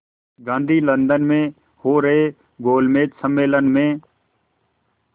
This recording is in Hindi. गांधी लंदन में हो रहे गोलमेज़ सम्मेलन में